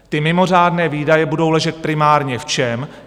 Ty mimořádné výdaje budou ležet primárně v čem?